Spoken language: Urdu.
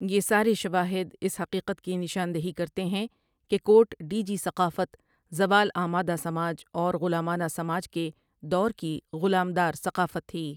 یہ سارے شواہد اس حقیقت کی نشان دہی کرتے ہیں کہ کوٹ ڈیجی ثقافت زوال آمادہ سماج اور غلامانہ سماج کے دور کی غلام دار ثقافت تھی ۔